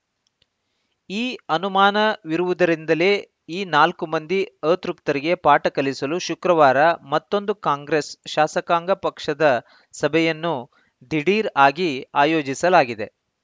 ಈ ಅನುಮಾನವಿರುವುದರಿಂದಲೇ ಈ ನಾಲ್ಕು ಮಂದಿ ಅತೃಪ್ತರಿಗೆ ಪಾಠ ಕಲಿಸಲು ಶುಕ್ರವಾರ ಮತ್ತೊಂದು ಕಾಂಗ್ರೆಸ್‌ ಶಾಸಕಾಂಗ ಪಕ್ಷದ ಸಭೆಯನ್ನು ದಿಢೀರ್‌ ಆಗಿ ಆಯೋಜಿಸಲಾಗಿದೆ